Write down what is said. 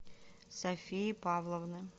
софии павловны